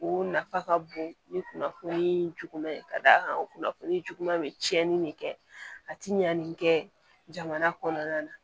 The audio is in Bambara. O nafa ka bon ni kunnafoni juguman ye ka d'a kan o kunnafoni juguman bɛ cɛnni de kɛ a ti ɲan nin kɛ jamana kɔnɔna na